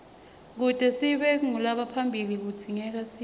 kute sibe ngulabaphilile kudzingekasidle